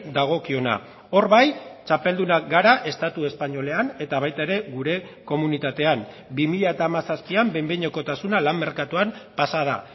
dagokiona hor bai txapeldunak gara estatu espainolean eta baita ere gure komunitatean bi mila hamazazpian behin behinekotasuna lan merkatuan pasa da